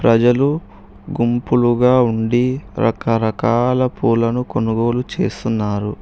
ప్రజలు గుంపులుగా ఉండి రకరకాల పూలను కొనుగోలు చేస్తున్నారు.